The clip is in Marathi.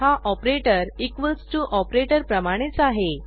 हा ऑपरेटर इक्वॉल्स टीओ ऑपरेटर प्रमाणेच आहे